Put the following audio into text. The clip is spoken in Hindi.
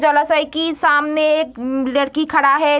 जलाशय की सामने एक मम लेड़की खड़ा है।